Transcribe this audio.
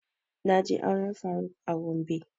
Na je auren faruk a gombe